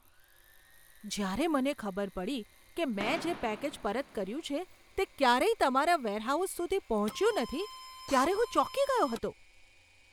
જ્યારે મને ખબર પડી કે મેં જે પેકેજ પરત કર્યું છે તે ક્યારેય તમારા વેરહાઉસ સુધી પહોંચ્યું નથી ત્યારે હું ચોંકી ગયો હતો!